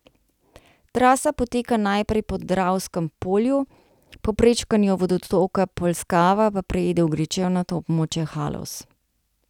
Trasa poteka najprej po Dravskem polju, po prečkanju vodotoka Polskava pa preide v gričevnato območje Haloz.